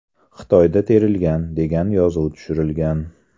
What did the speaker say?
Xitoyda terilgan” degan yozuv tushirilgan.